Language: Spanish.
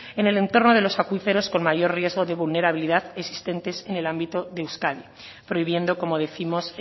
en el entorno de los acuíferos con mayor riesgo de vulnerabilidad existentes en el ámbito de euskadi prohibiendo como décimos